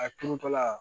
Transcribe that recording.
A kurutɔla